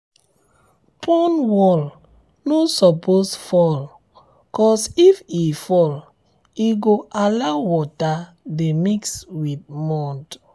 pond wall no suppose fall cos if e fall e um go allow um water de mix um with mud